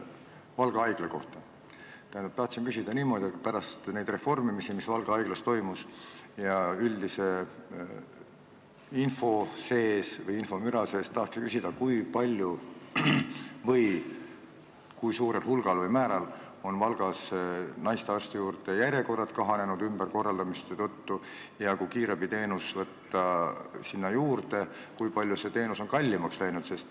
Tahtsin üldise info või infomüra sees küsida niimoodi, et pärast neid reformimisi, mis Valga Haiglas toimusid, kui palju või kui suurel hulgal või määral on Valgas järjekorrad naistearstide juurde kahanenud ja kui kiirabiteenus sinna juurde võtta, kui palju siis see teenus on kallimaks läinud.